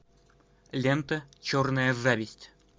лента черная зависть